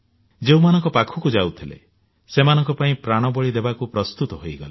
ଯେଉଁମାନଙ୍କ ପାଖକୁ ଯାଇଥିଲେ ସେମାନଙ୍କ ପାଇଁ ପ୍ରାଣବଳୀ ଦେବାକୁ ପ୍ରସ୍ତୁତ ହୋଇଗଲେ